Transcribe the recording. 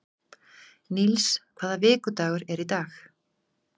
Níls, hvaða vikudagur er í dag?